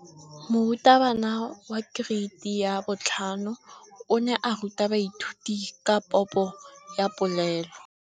Moratabana wa kereiti ya 5 o ne a ruta baithuti ka popô ya polelô.